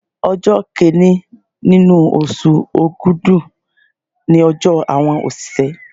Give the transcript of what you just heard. Ọjọ́ Kínní nínú oṣù Ògùdú ni ọjọ́ àwọn òṣìṣẹ́.